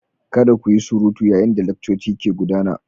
Kada ku yi surutu yayin da laccoci ke gudana.